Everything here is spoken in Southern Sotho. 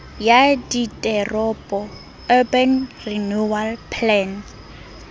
ya diteropo urban renewal plan